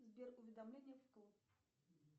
сбер уведомления вкл